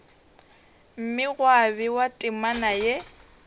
mme gwa bewa temana ye